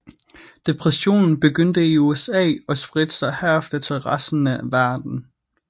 Depressionen begyndte i USA og spredte sig herefter til resten af verden